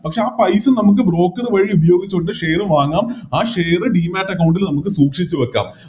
പക്ഷെ ആ പൈസ നമുക്ക് Broker വഴി ഉപയോഗിച്ചോണ്ട് Share വാങ്ങാം ആ Share ൽ നമുക്ക് സൂക്ഷിച്ച് വെക്കാം